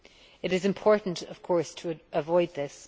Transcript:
It is important, of course, to avoid this.